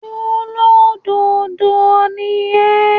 ṣólódodo ni ẹ́?